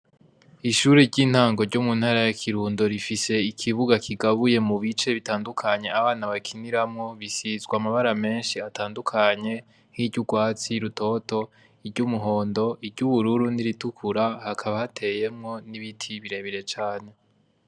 Ishure ry'intango ryo mu ntara ya Kirundo rifise ikibuga kigabuye mu bice bitandukanye abana bakiniramwo, Bisizwe amabara meshi atandukanye, nk'iry'urwatsi rutoto, iry'umuhondo, iry'ubururu n'iritukura hakaba hateyemwo n'ibiti birebire cane.